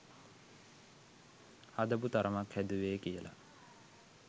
හදපු තරමක් හැදුවේ කියලා